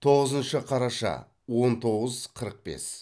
тоғызыншы қараша он тоғыз қырық бес